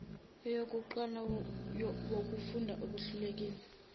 eyokuqala wukufunda okuhlelekile